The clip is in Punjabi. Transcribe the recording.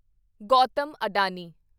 ਗੌਤਮ ਅਡਾਨੀ